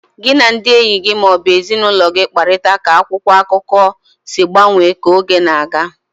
Gị na ndị enyi gị ma ọ bụ ezinụlọ gị kparịta ka akwụkwọ akụkọ si gbanwee ka oge na-aga.